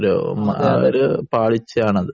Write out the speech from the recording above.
ഒരു പാളിച്ചയാണ് അത്